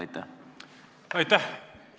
Aitäh!